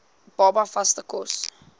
baba vaste kos